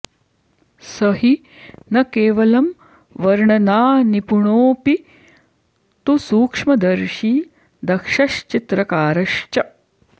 स हि न केवलं वर्णनानिपुणोऽपि तु सूक्ष्मदर्शी दक्षश्चित्रकारश्च